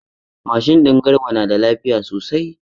Mashin din Garba na da lafiya sosai.